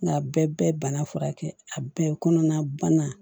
Nka bɛɛ bɛɛ bana furakɛ a bɛɛ kɔnɔna bana